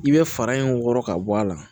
I bɛ fara in wɔrɔ ka bɔ a la